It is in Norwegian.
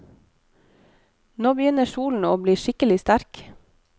Nå begynner solen å bli skikkelig sterk.